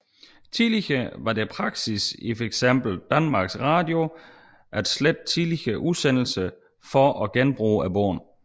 Tidligere var det praksis i fx Danmarks Radio at slette tidligere udsendelser for at genbruge båndene